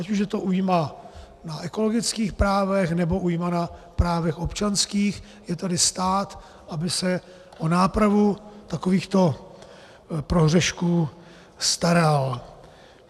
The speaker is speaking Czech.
Ať už je to újma na ekologických právech, nebo újma na právech občanských, je tady stát, aby se o nápravu takovýchto prohřešků staral.